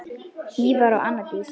Ívar og Anna Dís.